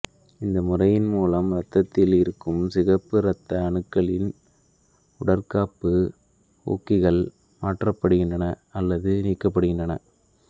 இந்த முறையின் மூலம் இரத்தத்தில் இருக்கும் சிகப்பு இரத்த அணுக்களின் உடற்காப்பு ஊக்கிகள் மாற்றப்படுகின்றன அல்லது நீக்கப்படுகின்றன